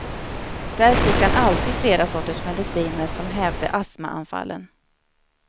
Där fick han alltid flera sorters mediciner som hävde astmaanfallen.